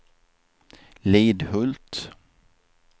Lidhult